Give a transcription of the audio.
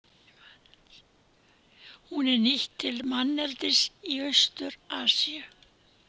Hún er nýtt til manneldis í Austur-Asíu.